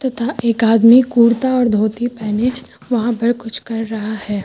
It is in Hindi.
तथा एक आदमी कुर्ता और धोती पहने वहां पर कुछ कर रहा है।